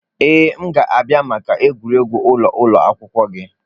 Ee, m ga-abịa maka egwuregwu ụlọ ụlọ akwụkwọ gị.